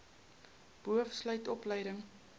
boov sluit opleiding